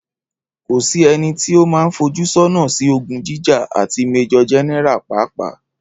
Kò sí ẹnití o man fojúsọ́nà sí ogún jíjà, àti Májòr Générà pàápàá